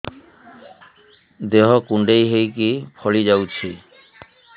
ଦେହ କୁଣ୍ଡେଇ ହେଇକି ଫଳି ଯାଉଛି